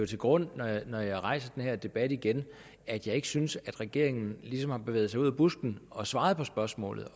til grund når jeg rejser den her debat igen at jeg ikke synes at regeringen ligesom har bevæget sig ud af busken og svaret på spørgsmålet